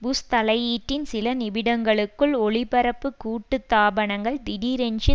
push தலையீட்டின் சில நிமிடங்களுக்குள் ஒளிபரப்பு கூட்டுத்தாபனங்கள் திடீரென்று